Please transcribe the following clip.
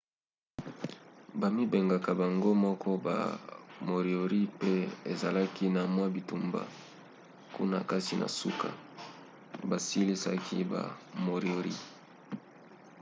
bamibengaka bango moko ba moriori po ezalaki na mwa bitumba kuna kasi na suka basilisaki ba moriori